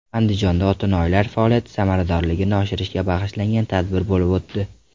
Andijonda otinoyilar faoliyati samaradorligini oshirishga bag‘ishlangan tadbir bo‘lib o‘tdi.